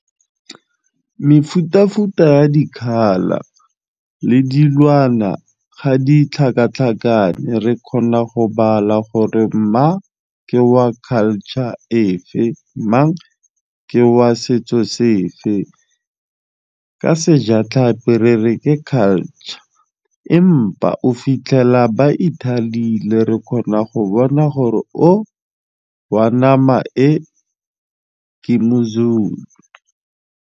Mefutafuta ya di-color le dilwana ga di tlhakatlhakane re kgona go bala gore mma ke wa culture efe mang ke wa setso sefe, ka sejatlhapi re re ke culture empa o fitlhela ba ithalile ebile re kgona go bona gore o wa nama e ke moZulu.